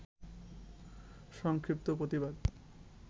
সংক্ষিপ্ত প্রতিবাদ